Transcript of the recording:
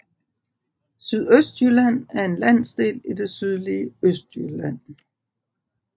Sydøstjylland er en landsdel i det sydlige Østjylland